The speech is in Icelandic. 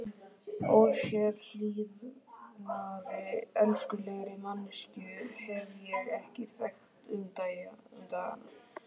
Ósérhlífnari og elskulegri manneskju hef ég ekki þekkt um dagana.